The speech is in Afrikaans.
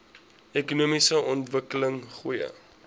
ekonomiese ontwikkeling goeie